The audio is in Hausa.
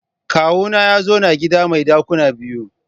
Kawuna ya zauna a gida mai dakuna biyu.